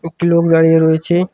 একটি লোক দাঁড়িয়ে রয়েছে।